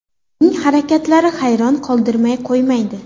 Uning harakatlari hayron qoldirmay qo‘ymaydi.